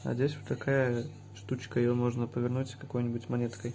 а здесь такая штучка её можно повернуть какой-нибудь монеткой